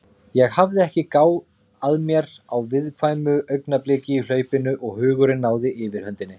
Ég hafði ekki gáð að mér á viðkvæmu augnabliki í hlaupinu og hugurinn náði yfirhöndinni.